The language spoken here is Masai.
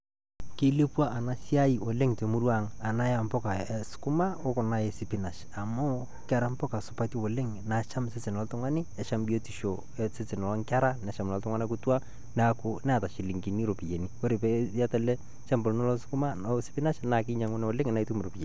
Keleepua ena siaai oleng te murrua ang' ena e mbuuka e sukuuma o kuna e sipinaash, amu kera mbuuka supaati oleng naacham sesen oltung'ani neshaam biotisho osesen onkerra neshaam lolo ltung'ana kituak. Naaku neeta silingini ropiani kore pee eyaata ele lchambaa lilo lo sukuuma lo siipinaash naa keyauno oleng naa ituum ropiani.